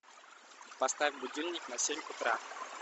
поставь будильник на семь утра